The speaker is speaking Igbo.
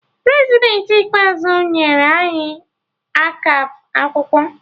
Prezidentị ikpeazụ nyere anyi akap akwụkwọ